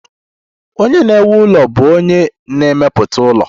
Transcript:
Onye na-ewu ụlọ bụ onye na-emepụta ụlọ